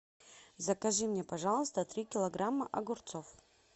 закажи мне пожалуйста три килограмма огурцов